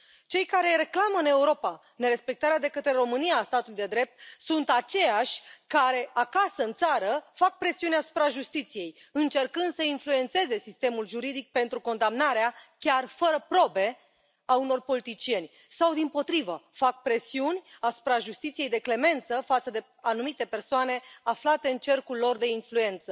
Cei care reclamă în Europa nerespectarea de către România a statului de drept sunt aceiași care acasă în țară fac presiuni asupra justiției, încercând să influențeze sistemul juridic pentru condamnarea, chiar fără probe, a unor politicieni sau, dimpotrivă, fac presiuni asupra justiției de clemență față de anumite persoane aflate în cercul lor de influență.